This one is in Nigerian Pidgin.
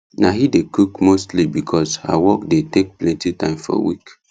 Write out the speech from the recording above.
na he dey cook mostly because her work dey take plenty time for week